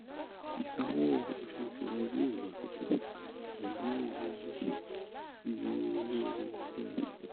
Isanwo oṣooṣu rẹ yoo lọ soke lati pẹlu iye owó PMI